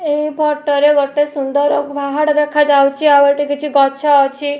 ଏହି ଫଟୋ ରେ ଗୋଟେ ସୁନ୍ଦର ପାହାଡ଼ ଦେଖାଯାଉଚି ଆଉ ଏଠି କିଛି ଗଛ ଅଛି।